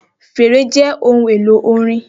Fèrè jẹ ohun elo orin.